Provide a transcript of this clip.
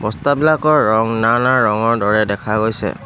বস্তা বিলাকৰ ৰং নানা ৰঙৰ দৰে দেখা গৈছে।